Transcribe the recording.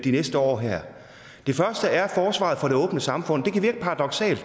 de næste år her det første er forsvaret for det åbne samfund det kan virke paradoksalt